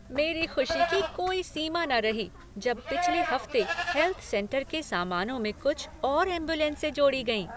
मेरे खुशी की कोई सीमा न रही जब पिछले हफ्ते हेल्थ सेंटर के सामानों में कुछ और एम्बुलेंसें जोड़ी गईं।